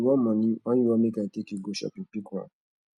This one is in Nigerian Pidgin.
you wan money or you want make i take you go shopping pick one